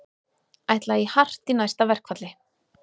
Ætla í hart í næsta verkfalli